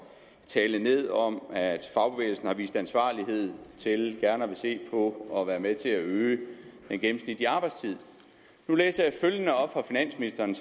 tale ned om at fagbevægelsen har vist ansvarlighed til gerne at ville se på at være med til at øge den gennemsnitlige arbejdstid nu læser jeg følgende op for finansministeren